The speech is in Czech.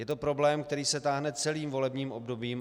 Je to problém, který se táhne celým volebním obdobím.